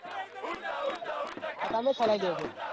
હા તમે ચલૈં લેજો